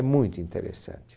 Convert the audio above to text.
É muito interessante.